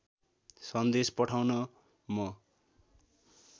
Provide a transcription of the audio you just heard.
सन्देश पठाउन म